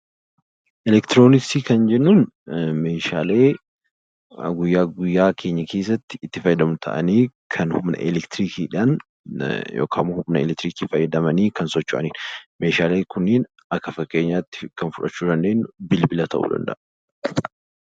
Elektirooniksii kan jennuun meeshaalee guyyaa guyyaa keenya keessatti itti fayyadamnu ta'anii kan Humna elektirikii fayyadamanii socho'anidha. Meeshaaleen kunniin kanneen akka bibilaa ta'uu danda'a.